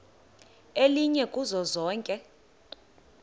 elinye kuzo zonke